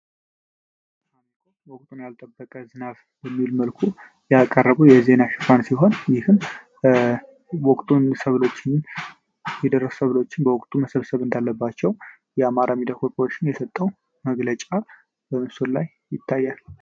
ወቅቱን ያልጠበቀ መልኩ ያቀረቡ የዜና ሽፋን ሲሆን የደረሰ በወቅቱ መሰብሰብ እንዳለባቸው የአማርኛ የሰጠው መግለጫ ላይ ይታያል